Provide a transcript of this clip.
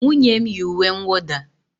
Nwunye m yi uwe nwụda